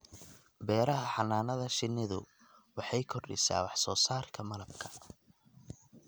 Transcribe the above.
Beeraha Xannaanada shinnidu waxay kordhisaa wax soo saarka malabka.